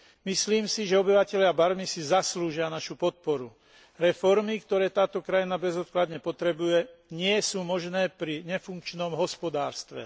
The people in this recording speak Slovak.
Myslím si, že obyvatelia Barmy si zaslúžia našu podporu. Reformy, ktoré táto krajina bezodkladne potrebuje, nie sú možné pri nefunkčnom hospodárstve.